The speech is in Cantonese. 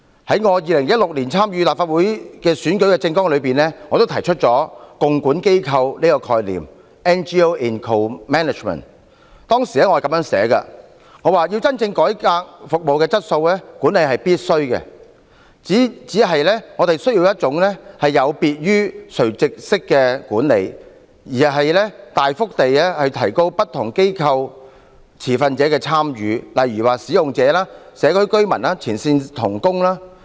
在我2016年參選立法會的選舉政綱中，我提出了共管機構的概念，當時我是這樣寫的：要真正改善服務的質素，管理是必須及不必然是惡的，只是我們需要一種有別於垂直式的管理，而是大幅地提高不同機構持份者的參與，例如使用者、社區居民及前線同工。